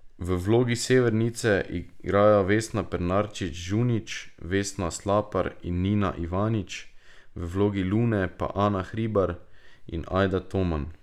V vlogi Severnice igrajo Vesna Pernarčič Žunić, Vesna Slapar in Nina Ivanič, v vlogi Lune pa Ana Hribar in Ajda Toman.